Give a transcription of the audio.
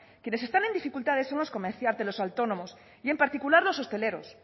quienes están en dificultades son los comerciantes los autónomos y en particular los hosteleros